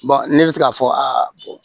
ne bɛ se k'a fɔ